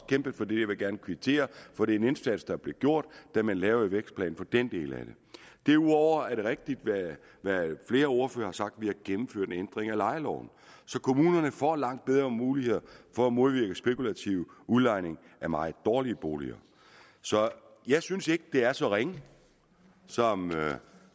kæmpet for det jeg vil gerne kvittere for den indsats der blev gjort da man lavede vækstplanen for den del af det derudover er det rigtigt hvad flere ordførere har sagt vi har gennemført en ændring af lejeloven så kommunerne får langt bedre muligheder for at modvirke spekulativ udlejning af meget dårlige boliger så jeg synes ikke det er så ringe som